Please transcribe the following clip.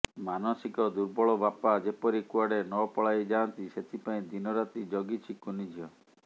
ମାନସିକ ଦୁର୍ବଳ ବାପା ଯେପରି କୁଆଡ଼େ ନପଳାଇ ଯାଆନ୍ତି ସେଥିପାଇଁ ଦିନରାତି ଜଗିଛି କୁନିଝିଅ